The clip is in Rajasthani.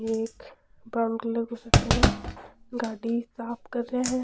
ये एक ब्राउन कलर की शर्ट पहने है गाड़ी साफ कर रे है।